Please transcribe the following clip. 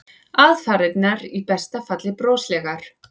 Aðfarirnar í besta falli broslegar.